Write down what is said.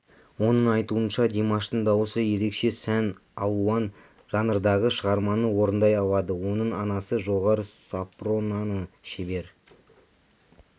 оның айтуынша димаштың дауысы ерекше сан алуан жанрдағы шығарманы орындай алады оның анасы жоғары сопраноны шебер